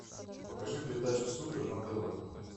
покажи передачу супер на тв